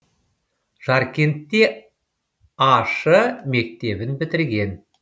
жаркентте а ш мектебін бітірген